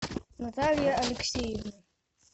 наталья алексеевна